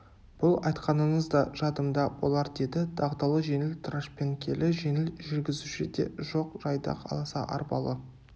бұл айтқаныңыз да жадымда болар деді дағдылы жеңіл трашпеңкелі жеңіл жүргізуші де жоқ жайдақ аласа арбалы